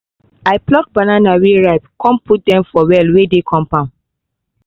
i pluck banana wey ripe con put dem for well wey dey compound